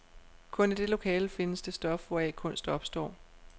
Kun i det lokale findes det stof, hvoraf kunst opstår.